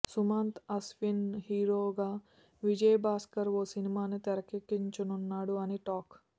సుమంత్ అశ్విన్ హీరోగా విజయ్ భాస్కర్ ఓ సినిమాని తెరకెక్కించనున్నాడు అని టాక్